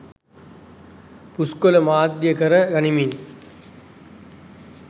පුස්කොළ මාධ්‍යය කර ගනිමින්